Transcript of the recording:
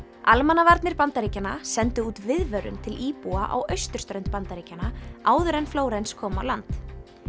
almannavarnir Bandaríkjanna sendu út viðvörun til íbúa á austurströnd Bandaríkjanna áður en Flórens kom á land